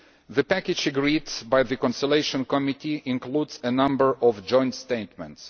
The package agreed by the Conciliation Committee includes a number of joint statements.